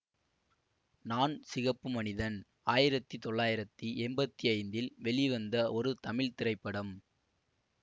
நான் சிகப்பு மனிதன் ஆயிரத்தி தொள்ளாயிரத்தி எம்பத்தி ஐந்தில் வெளிவந்த ஒரு தமிழ் திரைப்படம்